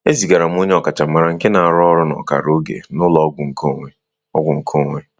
E zigara m onye ọkachamara nke na-arụ ọrụ n'ọkara oge n'ụlọ ọgwụ nkeonwe. ọgwụ nkeonwe.